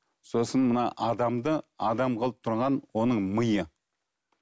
сосын мына адамды адам қылып тұрған оның миы